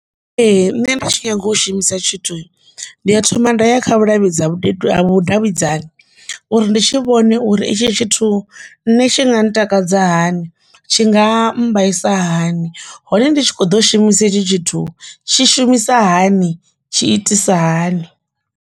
Ee, nṋe nda tshi nyaga u shumisa tshithu ndi a thoma nda ya kha vhuluvhidza vhudavhidzani uri ndi tshi vhone uri i tshi tshithu nṋe tshi nga ntakadza hani tshi nga ambarisa hani hone ndi tshi kho ḓo shumisa hetshi tshithu tshi shumisa hani tshi itisa hani.